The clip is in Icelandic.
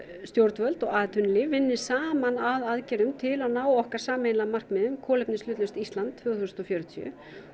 stjórnvöld og atvinnulíf vinni saman að aðgerðum til að ná okkar sameiginlega markmiði um kolefnishlutlaust Ísland tvö þúsund og fjörutíu